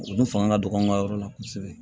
Olu fanga ka dɔgɔ an ka yɔrɔ la kosɛbɛ